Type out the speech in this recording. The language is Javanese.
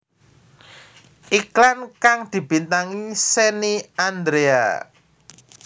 Iklan kang dibintangi Shenny Andrea